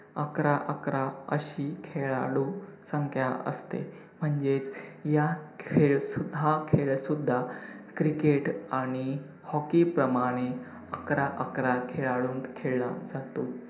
अकरा-अकरा अशी खेळाडू संख्या असते, म्हणजेच या खेळ सुद्धा~ हा खेळ सुद्धा क्रिकेट आणि hockey प्रमाणे अकरा-अकरा खेळाडूत खेळला जातो.